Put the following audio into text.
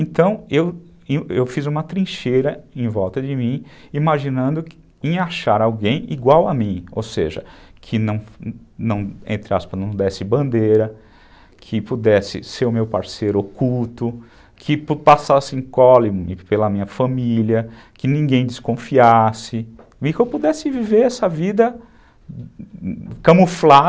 Então, eu fiz uma trincheira em volta de mim, imaginando em achar alguém igual a mim, ou seja, que não, não, entre aspas, não desse bandeira, que pudesse ser o meu parceiro oculto, que passassem incógnita pela minha família, que ninguém desconfiasse, e que eu pudesse viver essa vida camuflada.